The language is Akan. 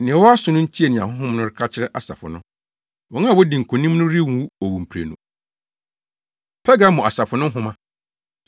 Nea ɔwɔ aso no ntie nea Honhom no ka kyerɛ asafo no. Wɔn a wodi nkonim no renwu owuprenu. Pergamo Asafo No Nhoma